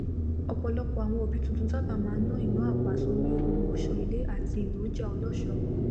ọpọlọpọ àwọn òbí tuntun sáábà máa n ná ìná àpá sórí ohunọṣọ ilé àti èròjà ọlọṣọọ